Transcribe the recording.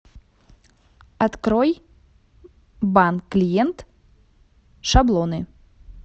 открой банк клиент шаблоны